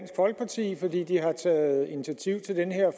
folkeparti fordi de har taget initiativ til den her